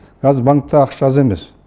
қазір банкте ақша аз емес